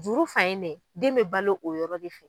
Juru fan in dɛ den bɛ balo o yɔrɔ de fɛ.